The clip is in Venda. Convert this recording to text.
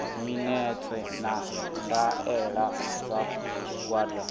minetse na ndaela dza tshigwada